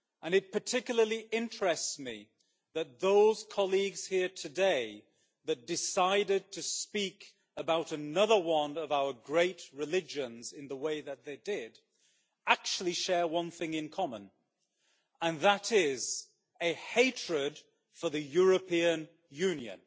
It particularly interests me that those colleagues here today who decided to speak about another one of our great religions in the way that they did actually share one thing in common, and that is a hatred for the European Union.